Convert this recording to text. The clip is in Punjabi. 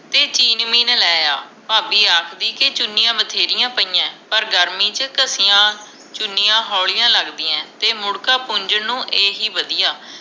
ਤੇ ਕਿਨ ਮੀਨ ਲੈ ਆ ਭਾਬੀ ਆਖਦੀ ਕੇ ਚੁਣੀਆਂ ਬਥੇਰੀਆਂ ਪਇਆ ਪਰ ਗਰਮੀ ਚ ਘਸਿਆਂ ਚੁਣੀਆਂ ਹੌਲੀਆਂ ਲਗਦੀਆਂ ਤੇ ਮੁੜ੍ਹਕਾ ਪੁੰਜਨ ਨੂੰ ਇਹੀ ਵਧਿਆ